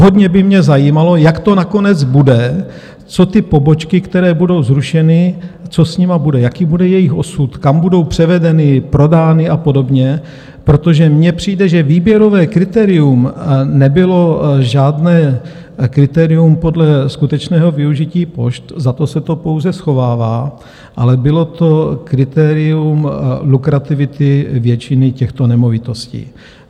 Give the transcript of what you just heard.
Hodně by mě zajímalo, jak to nakonec bude, co ty pobočky, které budou zrušeny, co s nimi bude, jaký bude jejich osud, kam budou převedeny, prodány a podobně, protože mně přijde, že výběrové kritérium nebylo žádné kritérium podle skutečného využití pošt, za to se to pouze schovává, ale bylo to kritérium lukrativity většiny těchto nemovitostí.